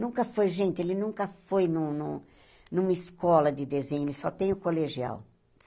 Nunca foi, gente, ele nunca foi num num numa escola de desenho, ele só tem o colegial.